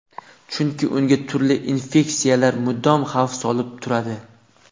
Chunki unga turli infeksiyalar mudom xavf solib turadi.